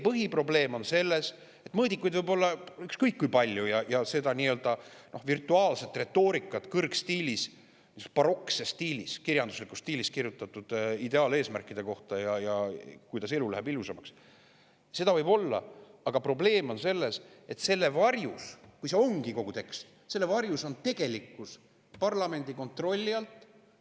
Põhiprobleem on selles, et mõõdikuid võib olla ükskõik kui palju ning ka seda nii-öelda virtuaalset retoorikat – kõrgstiilis, barokses stiilis, kirjanduslikus stiilis kirjutatud retoorikat – ideaaleesmärkide ja selle kohta, kuidas elu läheb ilusamaks, võib olla, aga kui see ongi kogu tekst, siis selle varjus on tegelikkus parlamendi kontrolli alt väljas.